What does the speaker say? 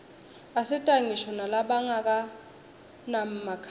asita ngisho nalabanganamakhaya